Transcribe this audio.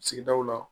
Sigidaw la